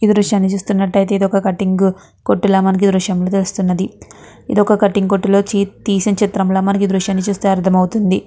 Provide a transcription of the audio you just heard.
ఈ దృశ్యాన్ని చూస్తున్నట్టాయితే ఇది ఒక కటిం గ్ కొట్టు లా మనకి ఈ దృశ్యాన్ని చూస్తుంటే తెలుస్తున్నది. ఇది ఒక కటింగ్ కొట్టు లో నించి తీసిన చిత్రం లా మనకు ఈ దృశ్యాన్ని చూస్తే అర్దమవుతుంది.